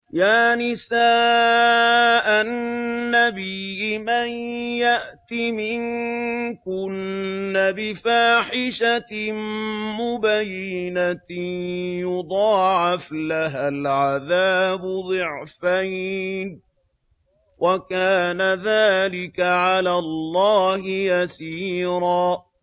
يَا نِسَاءَ النَّبِيِّ مَن يَأْتِ مِنكُنَّ بِفَاحِشَةٍ مُّبَيِّنَةٍ يُضَاعَفْ لَهَا الْعَذَابُ ضِعْفَيْنِ ۚ وَكَانَ ذَٰلِكَ عَلَى اللَّهِ يَسِيرًا